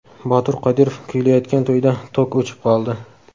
Botir Qodirov kuylayotgan to‘yda tok o‘chib qoldi.